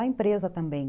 A empresa também.